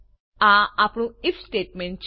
આ આપણું IF statement છે